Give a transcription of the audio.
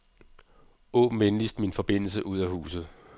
Åbn venligst min forbindelse ud af huset.